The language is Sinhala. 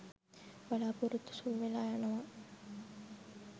බලාපොරොත්තු සුන් වෙලා යනවා